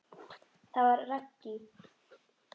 Það var Raggý.